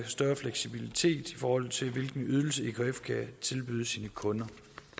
større fleksibilitet i forhold til hvilken ydelse ekf kan tilbyde sine kunder